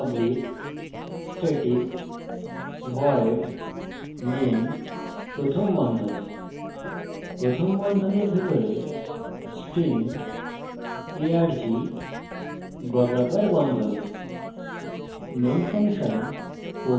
তাই লিখুন public static void main প্রথম বন্ধনী প্রথম বন্ধনীর ভিতরে string arg বর্গাকার বন্ধনী